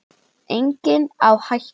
Enginn á hættu.